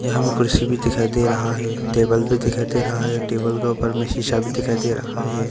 यहां में कुर्सी भी दिखाई दे रहा है टेबल भी दिखाई दे है। टेबल के ऊपर में शीशा भी दिखाई दे रहा है।